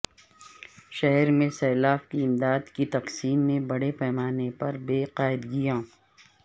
شہر میں سیلاب کی امدادکی تقسیم میں بڑے پیمانہ پر بے قاعدگیاں